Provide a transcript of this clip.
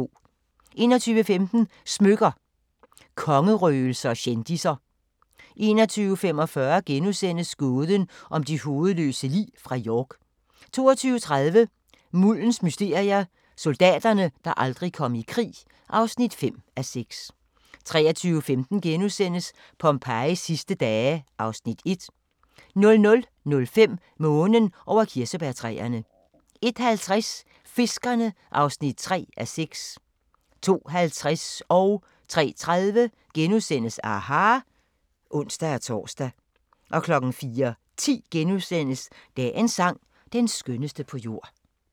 21:15: Smykker – Kongerøgelse og kendisser 21:45: Gåden om de hovedløse lig fra York * 22:30: Muldens mysterier – soldaterne, der aldrig kom i krig (5:6) 23:15: Pompejis sidste dage (Afs. 1)* 00:05: Månen over kirsebærtræerne 01:50: Fiskerne (3:6) 02:50: aHA! *(ons-tor) 03:30: aHA! *(ons-tor) 04:10: Dagens sang: Den skønneste på jord *